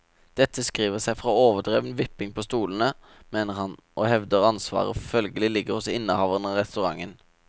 Dette skriver seg fra overdreven vipping på stolene, mener han, og hevder ansvaret følgelig ligger hos innehaveren av restauranten.